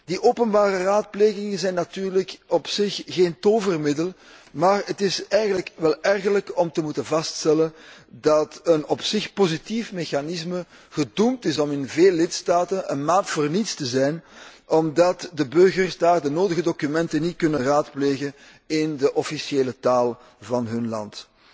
Die openbare raadplegingen zijn natuurlijk op zich geen tovermiddel, maar het is eigenlijk wel ergerlijk om te moeten vaststellen dat een op zich positief mechanisme gedoemd is om in veel lidstaten een maat voor niets te zijn, omdat de burgers daar de nodige documenten niet kunnen raadplegen in de officiële taal van hun land.